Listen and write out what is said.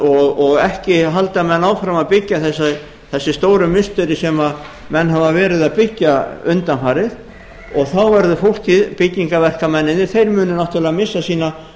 og ekki halda menn áfram að byggja þessi stóru musterin sem menn hafa verið að byggja undanfarið og þá verður fólkið byggingarverkamennirnir þeir munu náttúrlega missa sína